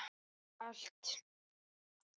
Bara allt.